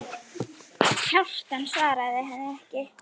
Kjartan svaraði henni ekki.